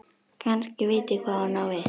Kannski veit ég hvað hún á við.